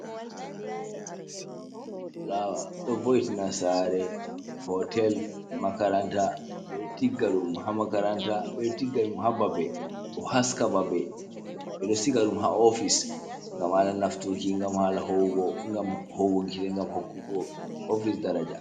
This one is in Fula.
Fulaawa ɗo vo'itina saare, hootel, makaranta. Ɓe ɗo tigga ɗum ha makaranta, ɓe ɗo tigga ɗum ha babe, ɗo haska babe, ɓe ɗo siga ɗum ha ofis, gam haala nafturki, gam haala hoowugo, gam hoowuki, hokkugo ofis daraja.